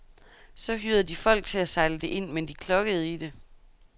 Så hyrede de folk til at sejle det ind, men de klokkede i det.